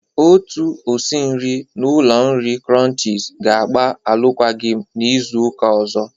Otu osi nri n'ụlọ oriri krọnchiz ga-agba arụkwagi m n'Izuụka ọzọ.